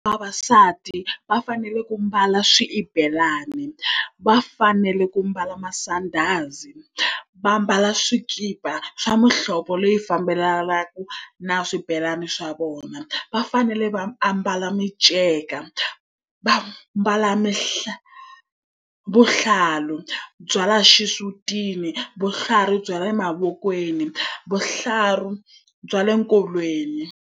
Vavasati va fanele ku mbala swibelani, va fanele ku mbala masandhazi, va ambala swikipa swa muhlovo leyi fambelanaka na swibelani swa vona. Va fanele va ambala minceka, va ambala vuhlalu bya laha xisutini, vuhlalu bya laha emavokweni, vuhlalu bya le nkolweni.